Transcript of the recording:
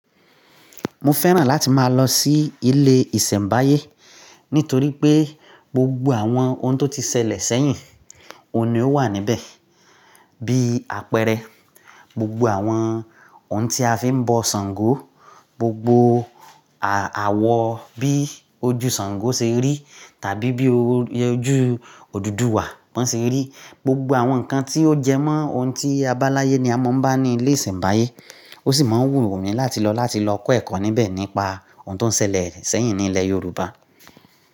Mo fẹ́ràn láti máa lọ sí ilé ìsẹ̀mbáyé nítorí pé gbogbo àwọn ohun tó ti ṣẹlẹ̀ sẹ́yìn, òní ó wà níbẹ̀. Bí apẹrẹ, gbogbo àwọn ohun tí a fi ń bọ Ṣàngó, gbogbo àwọ bí ojú Ṣàngó ṣe rí tàbí bí ojú Odùduwà bọ́n ṣe rí. Gbogbo àwọn nǹkan tí ó jẹmọ́ ohun tí abala ye ni a mọ̀ ń bá ní ilé ìsẹ̀mbáyé. Ó sì máa ń wù mí láti lọ láti lọ kọ́ ẹ̀kọ́ níbẹ̀ nípa ohun tó ń ṣẹlẹ̀ sẹ́yìn ní ilẹ̀ Yorùbá.